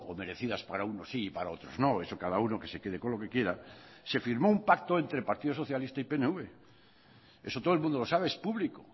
merecidas para unos sí y para otros no eso cada uno que se quede con lo que quiera se firmó un pacto entre partido socialista y pnv eso todo el mundo lo sabe es público